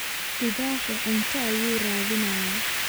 Libaaxii cunto ayuu raadinayaa.